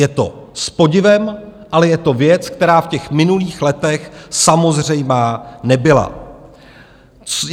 Je to s podivem, ale je to věc, která v těch minulých letech samozřejmá nebyla.